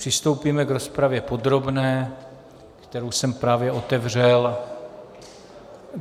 Přistoupíme k rozpravě podrobné, kterou jsem právě otevřel.